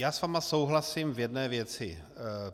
Já s vámi souhlasím v jedné věci.